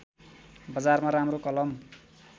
बजारमा राम्रो कलम